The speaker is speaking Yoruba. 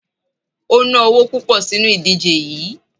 O ná owo púpọ̀ sínu ìdíje yií.